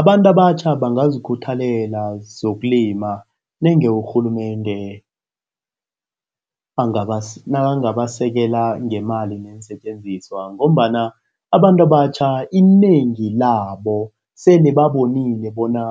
Abantu abatjha bangazikhuthalela zokulima nange urhulumende nakangabasekela ngeemali neensetjenziswa ngombana abantu abatjha inengi labo sele babonile bona